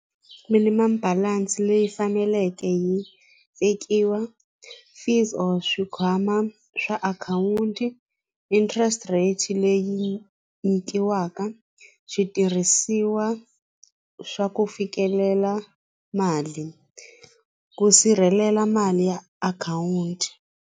Minimam balance leyi faneleke yi vekiwa fees or swikhwama swa akhawunti interest rate leyi nyikiwaka switirhisiwa swa ku fikelela mali ku sirhelela mali ya akhawunti.